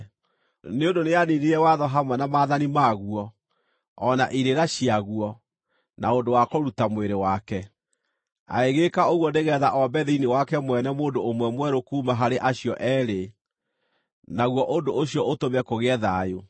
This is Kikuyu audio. nĩ ũndũ nĩaniinire watho hamwe na maathani maguo, o na irĩra ciaguo, na ũndũ wa kũruta mwĩrĩ wake. Agĩgĩĩka ũguo nĩgeetha ombe thĩinĩ wake mwene mũndũ ũmwe mwerũ kuuma harĩ acio eerĩ, naguo ũndũ ũcio ũtũme kũgĩe thayũ,